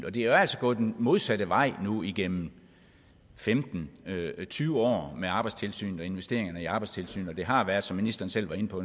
og det er jo altså gået den modsatte vej nu igennem femten til tyve år med arbejdstilsynet og investeringer i arbejdstilsynet og det har været som ministeren selv var inde på